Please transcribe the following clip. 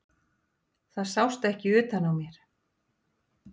Það sást ekki utan á mér.